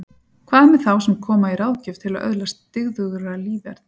Hvað með þá sem koma í ráðgjöf til að öðlast dyggðugra líferni?